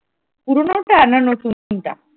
পুরনো টা না নতুনটা?